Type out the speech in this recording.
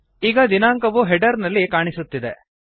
ಈಗ ದಿನಾಂಕವು ಹೆಡರ್ ನಲ್ಲಿ ಕಾಣಿಸುತ್ತಿದೆ